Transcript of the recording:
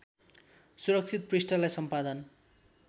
सुरक्षित पृष्ठलाई सम्पादन